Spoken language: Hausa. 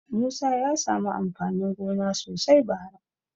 Musa ya samu amfanin gona sosai bara.